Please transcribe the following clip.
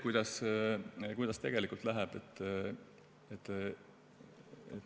Kuidas tegelikult läheb?